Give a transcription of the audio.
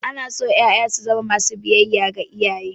Ana so ƴaƴa su zamo masu biyayya ga iyaye.